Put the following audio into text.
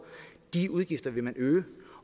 de udgifter vil man øge